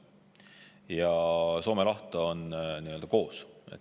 Ja Soome laht on nii-öelda koos.